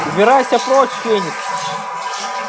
убирайся прочь феникс